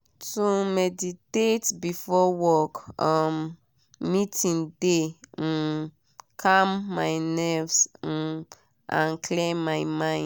to meditate before work um meeting de um calm my nerves um and clear my mind.